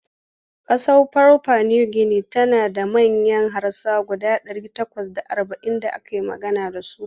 Ƙasar papua New Guinea tana da manyan harasa guda ɗari takwas da arba'in da ake magana da su.